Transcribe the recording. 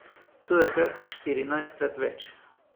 To je kar štirinajstkrat več!